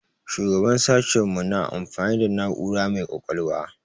Shugaban sashen mu na amfani da na'ura mai ƙwaƙwalwa.